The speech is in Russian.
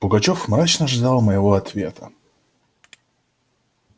пугачёв мрачно ждал моего ответа